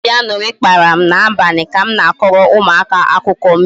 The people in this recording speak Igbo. Obi añụrị kpara m n'abalị ka m na-akọrọ ụmụaka akụkọ mbe